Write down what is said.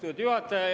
Austatud juhataja!